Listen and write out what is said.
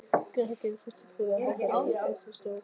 Krakkarnir settust prúðir og hátíðlegir í fasi í sófann.